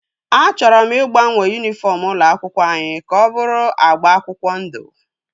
A chọrọ ịgbanwe yunifọm ụlọ akwụkwọ anyị ka ọ bụrụ agba akwụkwọ ndụ